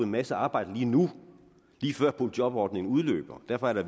masse arbejde lige nu lige før boligjobordningen udløber derfor er der